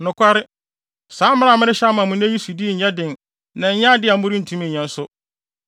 Nokware, saa mmara a merehyɛ ama mo nnɛ yi sodi nyɛ den na ɛnyɛ ade a morentumi nyɛ nso.